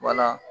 Wala